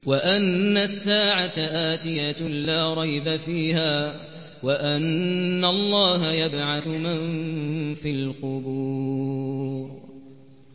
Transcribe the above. وَأَنَّ السَّاعَةَ آتِيَةٌ لَّا رَيْبَ فِيهَا وَأَنَّ اللَّهَ يَبْعَثُ مَن فِي الْقُبُورِ